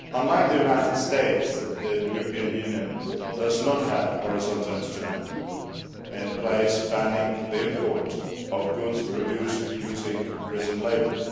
Unlike the United States, the EU does not have a horizontal instrument in place banning the import of goods produced using prison labour.